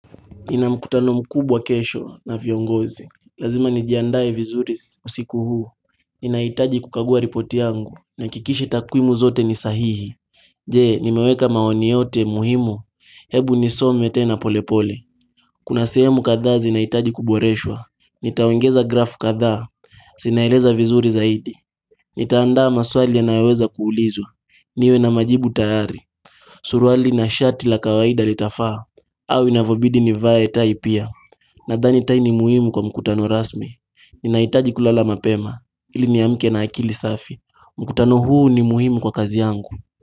Ninamkutano mkubwa kesho na viongozi. Lazima nijiandae vizuri usiku huu. Inaitaji kukagua ripoti yangu na kikishi takurimu zote ni sahihi. Je, nimeweka maoni yote muhimu. Hebu nisome tena polepole. Kuna sehemu kadhaa zinahitaji kuboreshwa. Nitaongeza grafu kadhaa. Zinaeleza vizuri zaidi. Nitaandaa maswali yanayoweza kuulizwa. Niwe na majibu tayari. Suruali na shati la kawaida litafaa. Au inavyobidi nivae tai pia. Nadhani tai ni muhimu kwa mkutano rasmi Ninahitaji kulala mapema ili niamke na akili safi. Mkutano huu ni muhimu kwa kazi yangu.